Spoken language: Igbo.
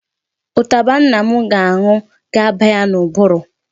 Ụtaba nna m ga-aṅụ ga-aba ya n'ụbụrụ.